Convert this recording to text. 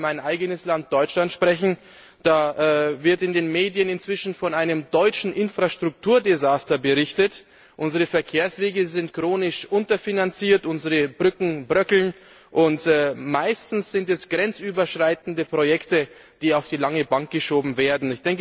Ich kann für mein eigenes Land Deutschland sprechen, da wird in den Medien inzwischen von einem deutschen Infrastrukturdesaster berichtet. Unsere Verkehrswege sind chronisch unterfinanziert, unsere Brücken bröckeln und meistens sind es grenzüberschreitende Projekte, die auf die lange Bank geschoben werden.